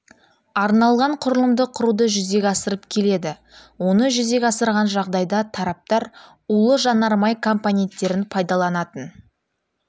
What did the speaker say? арналған құрылымды құруды жүзеге асырып келеді оны жүзеге асырған жағдайда тараптар улы жанармай компоненттерін пайдаланатын